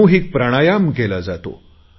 सामूहिक प्राणायाम केला जातो